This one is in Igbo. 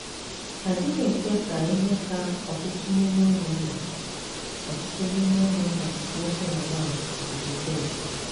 A dịghị ekwe ka ihe ka ọtụtụ n’ime ụmụnna ọtụtụ n’ime ụmụnna nwoke na nwanyị zute m.